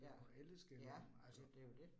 Ja. Ja, det jo det